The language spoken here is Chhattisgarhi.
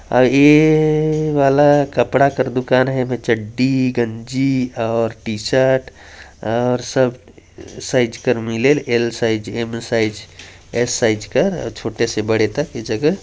और ए वाला कपड़ा कर दुकान है एमे चड्डी गंजी और टी शर्ट और सब साइज कर मिलेल L size M size S size कर अ छोटे से बड़े तक ए जगह --